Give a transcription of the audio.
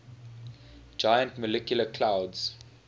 giant molecular clouds